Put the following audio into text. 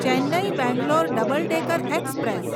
Chennai Bangalore double decker express